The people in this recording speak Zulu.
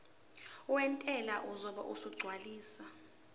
wentela uzobe esegcwalisa